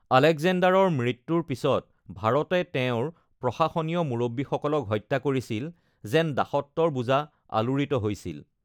আলেকজেণ্ডাৰৰ মৃত্যুৰ পিছত ভাৰতে তেওঁৰ প্ৰশাসনীয় মুৰব্বীসকলক হত্যা কৰিছিল, যেন দাসত্বৰ বোজা আলোড়িত হৈছিল।